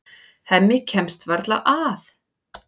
Hemmi kemst varla að.